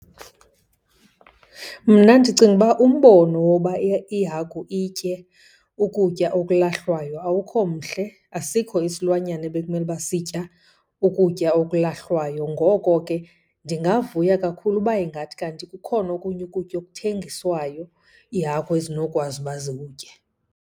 Mna ndicinga uba umbono woba ihagu itye ukutya okulahlwayo awukho mhle, asikho isilwanyana ebekumele uba sitya ukutya okulahlwayo. Ngoko ke ndingavuya kakhulu uba ingathi kanti kukhona okunye ukutya okuthengiswayo iihagu ezinokwazi uba zikutye.